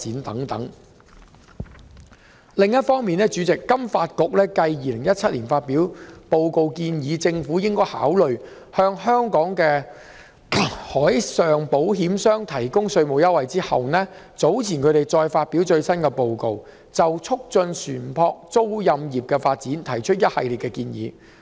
主席，另一方面，香港金融發展局繼於2017年發表報告，建議政府應考慮向香港的海事保險商提供稅務優惠後，早前再發表最新報告，就促進船舶租賃業的發展提出一系列建議。